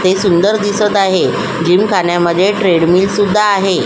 हे सुंदर दिसत आहे जिम खान्यामध्ये ट्रेडमिल सुद्धा आहे.